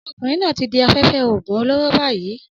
Ọmọkùnrin náà ti di afẹ́fẹ́ oògùn olóró báyìí